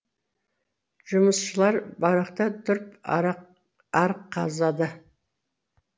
жұмысшылар баракта тұрып арық қазады